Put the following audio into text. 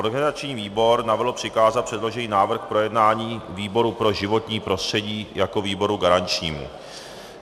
Organizační výbor navrhl přikázat předložený návrh k projednání výboru pro životní prostředí jako výboru garančnímu.